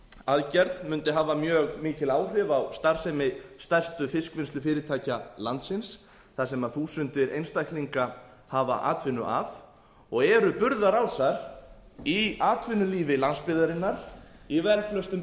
aðgerð mundi hafa mjög mikil áhrif á starfsemi stærstu fiskvinnslufyrirtækja landsins sem þúsundir einstaklinga hafa atvinnu af og eru burðarásar í atvinnulífi landsbyggðarinnar í velflestum